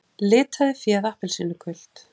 Litaði féð appelsínugult